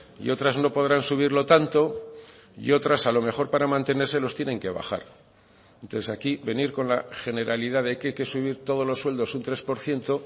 y otras no podrán subirlo tanto y otras a lo mejor para mantenerse los tienen que bajar entonces aquí venir con la generalidad de que hay que subir todos los sueldos un tres por ciento